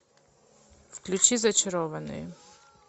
включи зачарованные